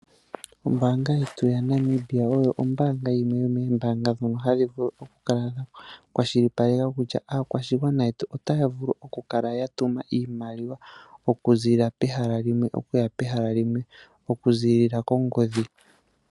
Ombaanga yetu yaNamibia oyo yimwe yomombaanga dho hadhi vulu oku kala dha kwashipaleka kutya aakwashigwana yetu otya vulu okukala ya tuma iimaliwa oku ziilila kongodhi okuza kehala limwe akuuka kehala ekwawo